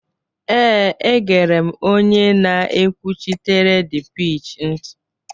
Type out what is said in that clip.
ee, egere m onye na-ekwuchitere dpeech ntị